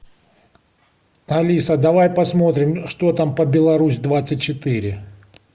алиса давай посмотрим что там по беларусь двадцать четыре